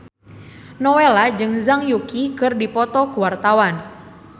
Nowela jeung Zhang Yuqi keur dipoto ku wartawan